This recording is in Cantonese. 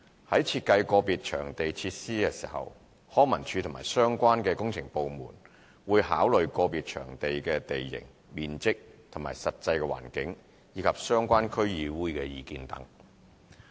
在設計個別場地設施時，康文署及相關工程部門會考慮個別場地的地形、面積和實際環境，以及相關區議會的意見等。